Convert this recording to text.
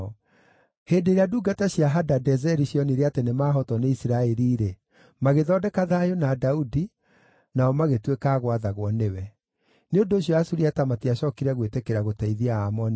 Hĩndĩ ĩrĩa ndungata cia Hadadezeri cionire atĩ nĩmahootwo nĩ Isiraeli-rĩ, magĩthondeka thayũ na Daudi, nao magĩtuĩka a gwathagwo nĩwe. Nĩ ũndũ ũcio Asuriata matiacookire gwĩtĩkĩra gũteithia Aamoni rĩngĩ.